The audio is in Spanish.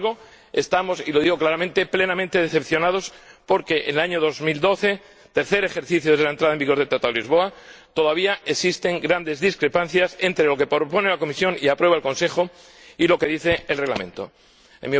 Sin embargo, estamos —y lo digo claramente— plenamente decepcionados porque en el año 2012, tercer ejercicio desde la entrada en vigor del Tratado de Lisboa, todavía existen grandes discrepancias entre lo que propone la Comisión y aprueba el Consejo, por una parte, y lo que dice el Reglamento, por otra.